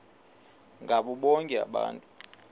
ngabo bonke abantu